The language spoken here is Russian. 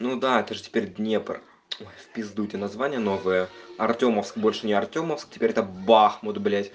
ну да это же теперь днепр ой в пизду эти названия новые артёмовск больше не артёмовск теперь это бахмут блять